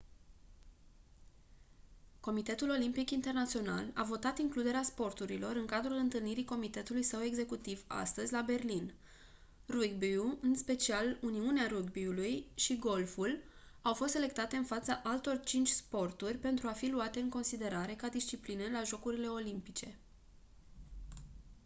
comitetul olimpic internațional a votat includerea sporturilor în cadrul întâlnirii comitetului său executiv astăzi la berlin rugby-ul în special uniunea rugby-ului și golful au fost selectate în fața altor 5 sporturi pentru a fi luate în considerare ca discipline la jocurile olimpice